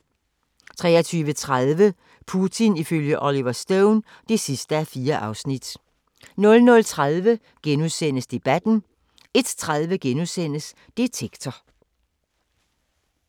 23:30: Putin ifølge Oliver Stone (4:4) 00:30: Debatten * 01:30: Detektor *